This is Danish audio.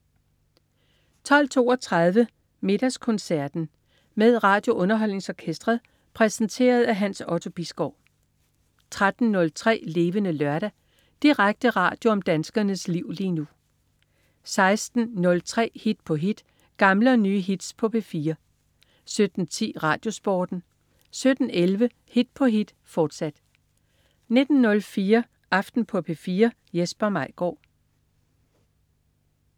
12.32 Middagskoncert med RadioUnderholdningsOrkestret. Præsenteret af Hans Otto Bisgaard 13.03 Levende Lørdag. Direkte radio om danskernes liv lige nu 16.03 Hit på hit. Gamle og nye hits på P4 17.10 RadioSporten 17.11 Hit på hit, fortsat 19.04 Aften på P4. Jesper Maigaard